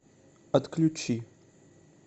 отключи